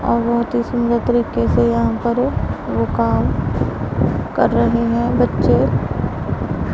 और बहोत ही सुंदर तरीके से यहां पर वो काम कर रहे है बच्चे--